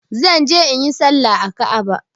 Zan je inyi salla a Ka'aba.